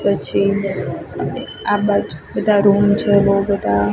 પછી આ બાજુ બધા રૂમ છે બઉ બધા--